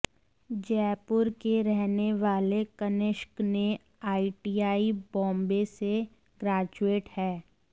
जयपुर के रहने वाले कनिष्क ने आईआईटी बॉम्बे से ग्रेजुएट है